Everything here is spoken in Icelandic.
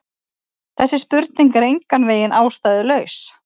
Þessi spurning er engan veginn ástæðulaus.